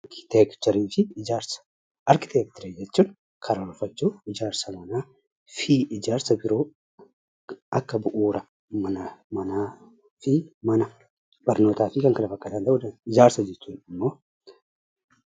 Arkiteekcharii fi ijaarsa: Arkiteekcharii jechuun ijaarsa manaa fi ijaarsa biroo fi kan kana fakkaatan ta'uu danda'a. Ijaarsa jechuun immoo ijaarsa manneenii yookiin immoo kan namoonni hojiif wal faana ijaaraman ta'uu kan danda'uu dha.